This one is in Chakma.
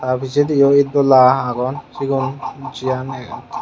aa pijeydi it dola agon sigun jiyan.